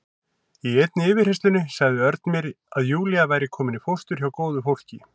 Í einni yfirheyrslunni sagði Örn mér að Júlía væri komin í fóstur hjá góðu fólki.